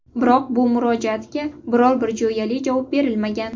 Biroq bu murojaatga biror-bir jo‘yali javob berilmagan.